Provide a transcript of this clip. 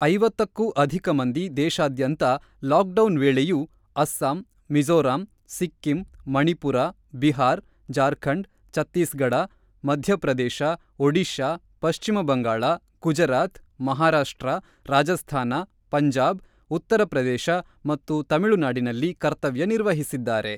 ೫೦ಕ್ಕೂ ಅಧಿಕ ಮಂದಿ ದೇಶಾದ್ಯಂತ ಲಾಕ್ ಡೌನ್ ವೇಳೆಯೂ ಅಸ್ಸಾಂ, ಮಿಝೋರಾಂ, ಸಿಕ್ಕಿಂ, ಮಣಿಪುರ, ಬಿಹಾರ್, ಜಾರ್ಖಂಡ್, ಛತ್ತೀಸ್ ಗಢ, ಮಧ್ಯಪ್ರದೇಶ, ಒಡಿಶಾ, ಪಶ್ಚಿಮಬಂಗಾಳ, ಗುಜರಾತ್, ಮಹಾರಾಷ್ಟ್ರ, ರಾಜಸ್ಥಾನ, ಪಂಜಾಬ್, ಉತ್ತರ ಪ್ರದೇಶ ಮತ್ತು ತಮಿಳುನಾಡಿನಲ್ಲಿ ಕರ್ತವ್ಯ ನಿರ್ವಹಿಸಿದ್ದಾರೆ.